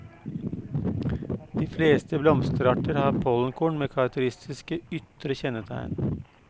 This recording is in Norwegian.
De fleste blomsterarter har pollenkorn med karakteristiske ytre kjennetegn.